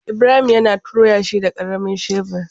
Ibrahim ya tona yashi da karamin shebur.